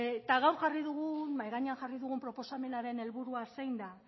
eta gaur jarri dugun mahai gainean jarri dugun proposamenaren helburua zein da